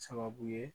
Sababu ye